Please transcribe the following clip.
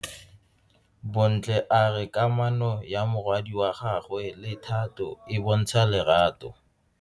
Bontle a re kamano ya morwadi wa gagwe le Thato e bontsha lerato.